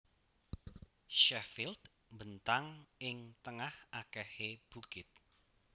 Sheffield mbentang ing tengah akehé bukit